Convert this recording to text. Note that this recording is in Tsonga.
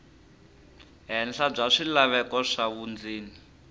henhla bya swilaveko swa vundzeni